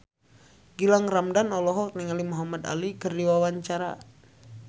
Gilang Ramadan olohok ningali Muhamad Ali keur diwawancara